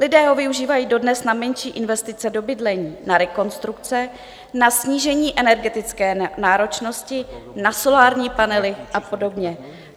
Lidé ho využívají dodnes na menší investice do bydlení, na rekonstrukce, na snížení energetické náročnosti, na solární panely a podobně.